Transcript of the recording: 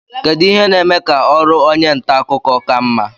kedu ihe na-eme ka ọrụ onye nta akụkọ ka mma